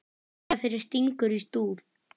Þetta fyrir stingur í stúf.